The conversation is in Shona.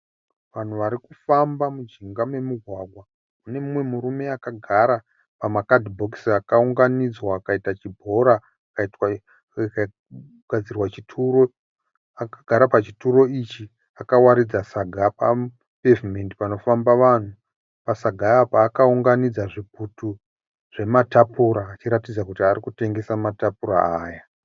Vanhu vari kufamba mujinga memugwagwa. Pane mumwe murume akagara pamakadhibhokisi akaunganidzwa akaita chibhora chakagadzirwa chituro. Akagara pachituro ichi akawaridza saga papevhimendi panofamba vanhu. Pasaga apa akaunganidza zvitutu zvematapura achiratidza kuti ari kutengesa matapura aya.